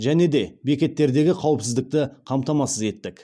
және де бекеттердегі қауіпсіздікті қамтамасыз еттік